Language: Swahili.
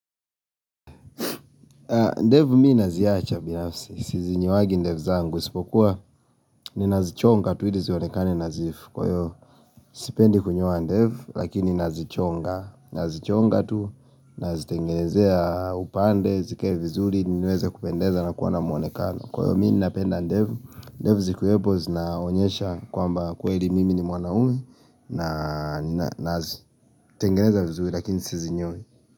Ndevu mi naziacha binafsi. Sizinyoangi ndevu zangu. Sipokuwa ninazichonga tu ili zionekane nadhifu. Kwa hiyo sipendi kunyoa ndevu lakini nazichonga. Nazichonga tu, nazitengenezea upande, zikae vizuri, niweze kupendeza na kuwa na muonekano. Kwa hiyo mi napenda ndevu. Ndevu zikuwepo zinaonyesha kwamba kweli mimi ni mwanaume na nazitengeneza vizuri lakini sizinyoi.